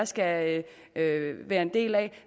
skal være en del af